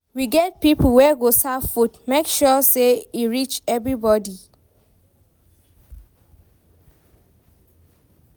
We get pipo wey go serve food, make sure sey e reach everybodi.